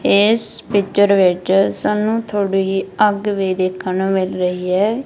ਇਸ ਪਿਚਰ ਵਿੱਚ ਸਾਨੂੰ ਥੋੜੀ ਅੱਗ ਵੀ ਦੇਖਣ ਨੂੰ ਮਿਲ ਰਹੀ ਹੈ।